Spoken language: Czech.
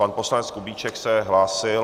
Pan poslanec Kubíček se hlásil...